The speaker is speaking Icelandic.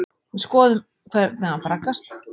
Við skoðum hvernig hann braggast.